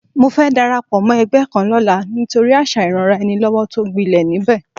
Mo fẹ́ darapọ̀ mọ́ ẹgbẹ́ kan lọ́la nítorí àṣà ìranraẹnilọ́wọ́ tó gbilẹ̀ níbẹ̀